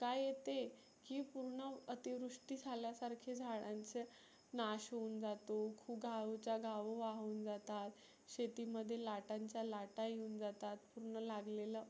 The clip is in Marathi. काय येते. की पुर्ण आती वृष्टी झाल्या सारखे झाडांचं नाश होऊन जातो. गावच्या गाव वाहुन जातात. शेती मध्ये लाटांच्या लाटा येऊन जातात. पुन्हा लागलेलं